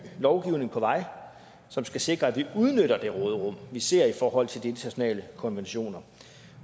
lovgivning på vej som skal sikre at vi udnytter det råderum vi ser i forhold til de internationale konventioner